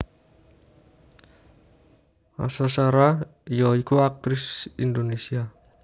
Asha Shara ya iku aktris Indonesia